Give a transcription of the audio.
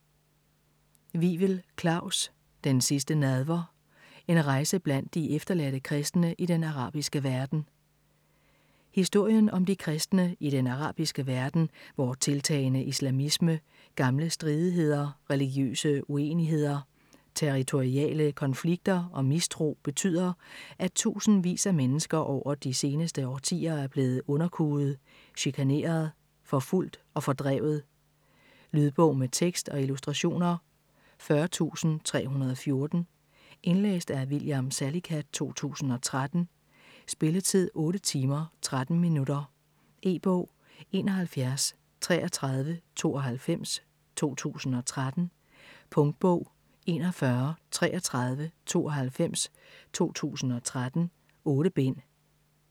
Wivel, Klaus: Den sidste nadver: en rejse blandt de efterladte kristne i den arabiske verden Historien om de kristne i den arabiske verden, hvor tiltagende islamisme, gamle stridigheder, religiøse uenigheder, territoriale konflikter og mistro betyder, at tusindvis af mennesker over de seneste årtier er blevet underkuet, chikaneret, forfulgt og fordrevet. Lydbog med tekst og illustrationer 40314 Indlæst af William Salicath, 2013. Spilletid: 8 timer, 13 minutter. E-bog 713392 2013. Punktbog 413392 2013. 8 bind.